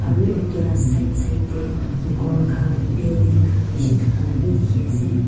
aru itula side side tey ghor khan building khan bishi thaka la bi dikhi ase.